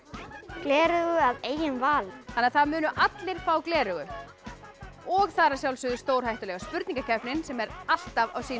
gleraugu að eigin vali þannig að það munu allir fá gleraugu og það er að sjálfsögðu stórhættulega spurningakeppnin sem er alltaf á sínum